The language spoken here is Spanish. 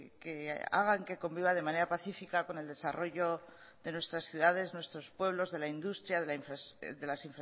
que hagan que conviva de manera pacífica con el desarrollo de nuestras ciudades nuestro pueblos de la industria de las